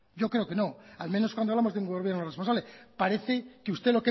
yo creo que no al menos cuando hablamos de un gobierno responsable parece que usted